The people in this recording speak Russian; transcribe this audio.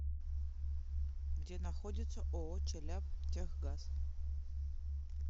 где находится ооо челябтехгаз